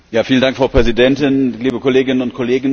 Frau Präsidentin, liebe Kolleginnen und Kollegen!